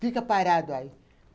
Fica parado aí.